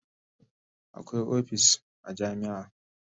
Akwai opis a jami'a